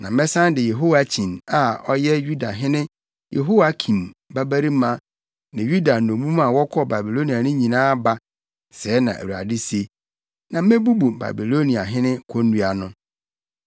Na mɛsan de Yehoiakyin a ɔyɛ Yudahene Yehoiakim babarima ne Yuda nnommum a wɔkɔɔ Babilonia no nyinaa aba’ sɛɛ na Awurade se, ‘na mebubu Babiloniahene konnua no.’ ”